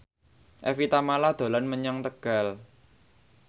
Evie Tamala dolan menyang Tegal